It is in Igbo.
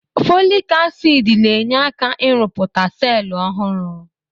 Fọlik asid na-enye aka ị rụpụta selụ ọhụrụ.